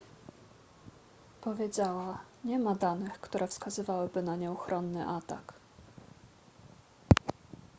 powiedziała nie ma danych które wskazywałyby na nieuchronny atak